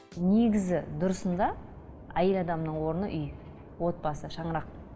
негізі дұрысында әйел адамның орны үй отбасы шаңырақ